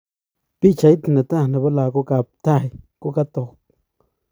Pichait ne taa nepo lagok ap Thai kokatok.